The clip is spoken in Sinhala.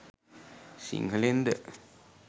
සිංහලෙන්ද?